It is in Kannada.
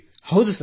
ಹೌದು ಸರ್